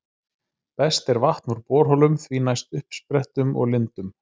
Best er vatn úr borholum, því næst uppsprettum og lindum.